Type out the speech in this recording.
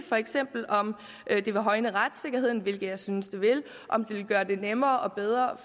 for eksempel om det vil højne retssikkerheden hvilket jeg nemlig synes det vil om det vil gøre det nemmere og bedre